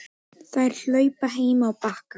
Þær hlupu heim á Bakka.